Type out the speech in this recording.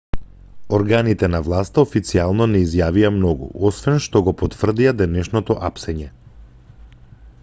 органите на власта официјално не изјавија многу освен што го потврдија денешното апсење